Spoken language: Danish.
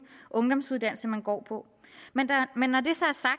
ungdomsuddannelse man går på men når det